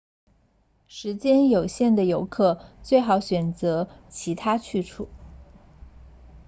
时间有限的游客最好选择其他去处